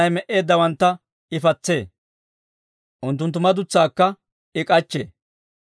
Wozanay me"eeddawantta I patsee; unttunttu madutsaakka I k'achchee.